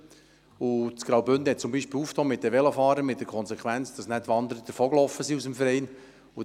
Der Kanton Graubünden hat sich für die Velofahrer geöffnet, mit der Konsequenz, dass die Wanderer aus dem Verein ausgetreten sind.